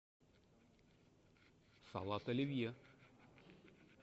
салат оливье